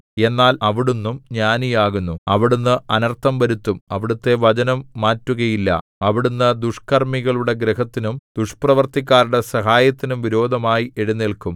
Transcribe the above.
എന്നാൽ അവിടുന്നും ജ്ഞാനിയാകുന്നു അവിടുന്ന് അനർത്ഥം വരുത്തും അവിടുത്തെ വചനം മാറ്റുകയില്ല അവിടുന്ന് ദുഷ്കർമ്മികളുടെ ഗൃഹത്തിനും ദുഷ്പ്രവൃത്തിക്കാരുടെ സഹായത്തിനും വിരോധമായി എഴുന്നേല്ക്കും